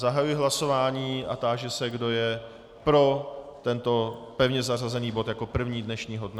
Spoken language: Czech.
Zahajuji hlasování a táži se, kdo je pro tento pevně zařazený bod jako první dnešního dne.